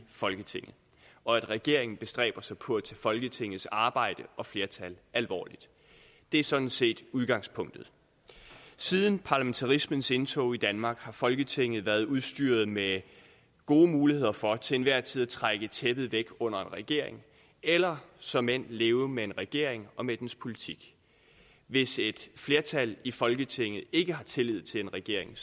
folketinget og at regeringer bestræber sig på at tage folketingets arbejde og flertal alvorligt det er sådan set udgangspunktet siden parlamentarismens indtog i danmark har folketinget været udstyret med gode muligheder for til enhver tid at trække tæppet væk under en regering eller såmænd at leve med en regering og med dens politik hvis et flertal i folketinget ikke har tillid til en regering